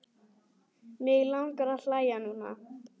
Mig langar að hlæja núna.